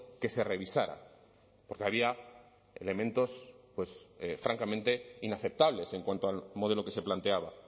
que se revisara porque había elementos pues francamente inaceptables en cuanto al modelo que se planteaba ha